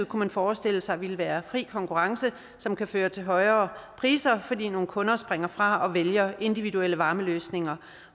kunne forestille sig ville være fri konkurrence som kunne føre til højere priser fordi nogle kunder springer fra og vælger individuelle varmeløsninger